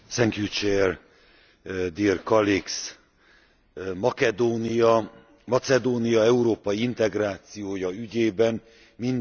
Macedónia európai integrációja ügyében mind az ország, mind az Unió számára egyre tarthatatlanabb a helyzet.